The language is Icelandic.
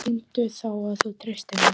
Sýndu þá að þú treystir mér!